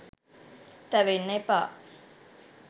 තැවෙන්න එපා.